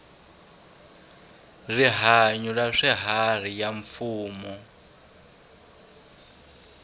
rihanyu ra swiharhi ya mfumo